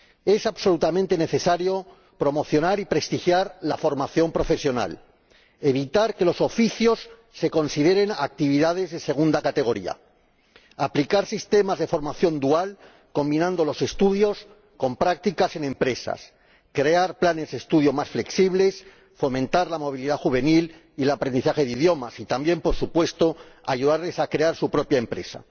Es absolutamente necesario promocionar y prestigiar la formación profesional, evitar que los oficios se consideren actividades de segunda categoría, aplicar sistemas de formación dual combinando los estudios con prácticas en empresas, crear planes de estudio más flexibles, fomentar la movilidad juvenil y el aprendizaje de idiomas y también, por supuesto, ayudarles a crear su propia empresa.